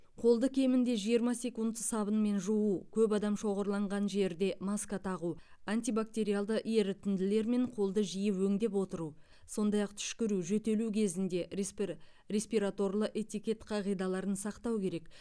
қолды кемінде жиырма секунд сабынмен жуу көп адам шоғырланған жерде маска тағу антибактериалды ерітінділермен қолды жиі өңдеп отыру сондай ақ түшкіру жөтелу кезінде респи респираторлы этикет қағидаларын сақтау керек